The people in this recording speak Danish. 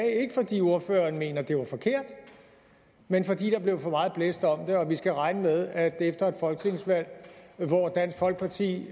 ikke fordi ordføreren mener det var forkert men fordi der blev for meget blæst om det og vi skal regne med at efter et folketingsvalg hvor dansk folkeparti